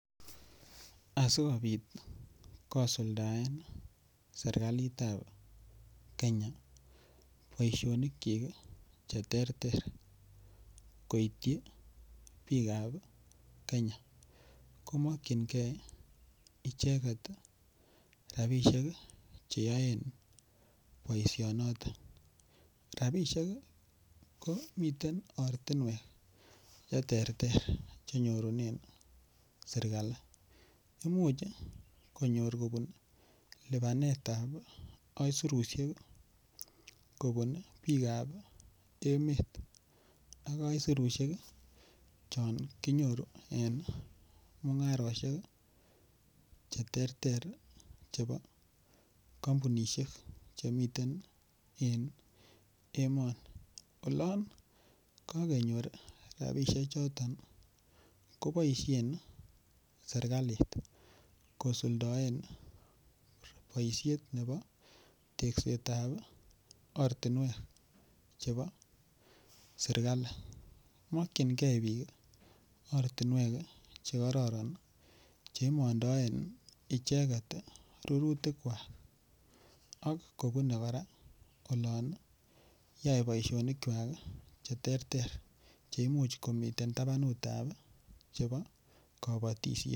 Asikopit kosuldaen serkalitap Kenya poishonikchik che terter koitchi piik ap Kenya ko makchingei icheget rapishek che yaen poishonotok. Rapishek ko miten ortunwek che ter ter cjhe nyorunen serkali . Imuch konyor kopun lipanetbap aisurushek i, kopun piik ap emet ak aisurushek chon kinyoru en mung'aroshek che terter chepo kampunishek che miten en emani. Olan kakenyor rapishechoton kopaishen serkalit kosuldaen poishet nepo tekset ap ortinwek chepo sirklai. Makchingei piik ortinwek che kararan che imandaen icheget rurutikwak ak kopune kora olan yae poishonikwak che terter che imuch komitei tapanut ap kapatishet.